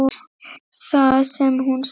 Það sem hún sagði